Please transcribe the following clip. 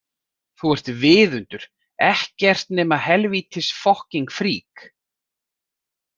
Þú ert viðundur, ekkert nema helvítis fokking frík!